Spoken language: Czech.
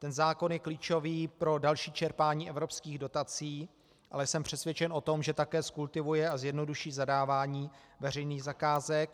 Ten zákon je klíčový pro další čerpání evropských dotací, ale jsem přesvědčen o tom, že také zkultivuje a zjednoduší zadávání veřejných zakázek.